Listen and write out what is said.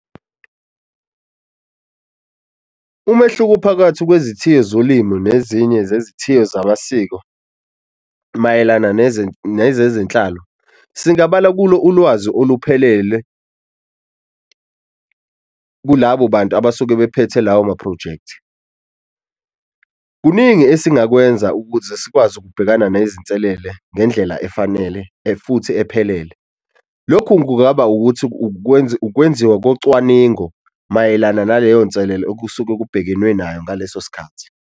Umehluko phakathi kwezithiyo zolimu nezinye zezithiyo zamasiko mayelana nezezenhlalo, singabala kulo ulwazi oluphelele kulabo bantu abasuke bephethe lawo maphrojekthi. Kuningi esingakwenza ukuze sikwazi ukubhekana nezinselele ngendlela futhi ephelele. Lokhu kungaba ukuthi ukwenziwa kunocwaningo mayelana naleyo nselelo okusuke kubhekenwe nayo ngaleso sikhathi.